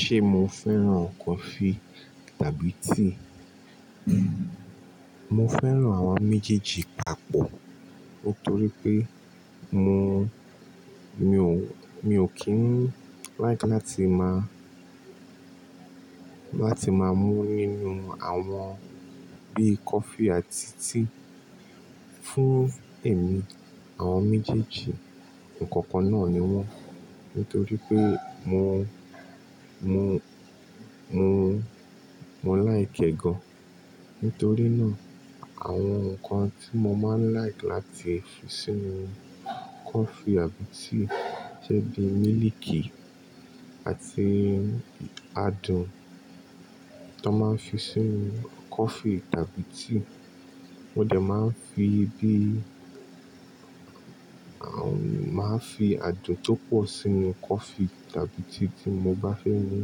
Ṣe mó fẹ́ràn kófí tàbí tíí? Mo fẹ́ràn àwọn méjèèjì pápọ̀. Nítórí pé mó, mi ò, mi ò kí ń líakí láti má, láti má mú nínú àwọn bí kófí àti tíí fún èmi. Àwọn méjèèjì nǹkàn kàn náà ní wọ́n. Nítorí pé mo, mo, mo, mo like ẹ̀ gan. Nítórí náà àwọn nǹkan tí mó máa ń líakí áti fi sínú kófí àbí tíí jẹ́ bí mílíkí àti ádùn tó máa ń fí sínú kófí tàbí tíí. Mó dẹ̀ máa ń fí bí, àwọn, máa ń fí adùn tó pọ̀ sínú kófí tàbí tíí tí mó bá fẹ́ mú.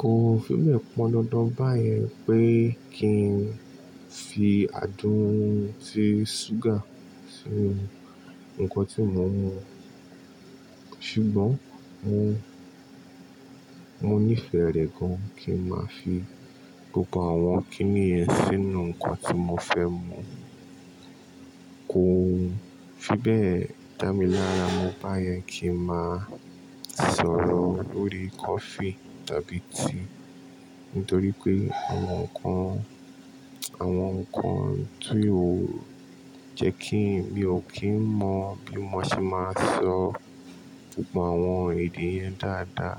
Kò fí bẹ́ẹ̀ pọn dàndàn báyẹn pé kí n fí ádùn tí súgá sínú nǹkan tí mó ń mú. Ṣùgbọ́n mó, mó nífẹ̀ẹ́ rẹ̀ gán kí n máa fí gbógbó àwọn kíní yẹn sínú nǹkan tí mó fẹ́ mú. Kò fi bẹ́ẹ̀ dá mí lárá mọ báyẹn kí n má sọ̀rọ̀ lórí kófí tàbí tíí. Nítorí pé àwọn nǹkan, àwọn nǹkan tí ó jẹ́ kí, mi ò kí ń mọ bí mó ṣe máa sọ gbógbó àwọn èdè yẹn dáadáa.